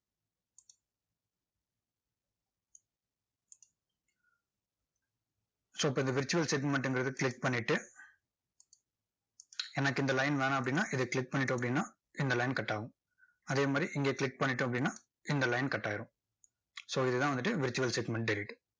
so இப்போ இந்த virtual segment ங்கிறதை click பண்ணிட்டு, எனக்கு இந்த line வேணாம் அப்படின்னா, இதை click பண்ணிட்டோம் அப்படின்னா, இந்த line cut ஆகும். அதே மாதிரி இங்க click பண்ணிட்டோம் அப்படின்னா, இந்த line cut ஆயிரும் so இதுதான் வந்துட்டு virtual segmented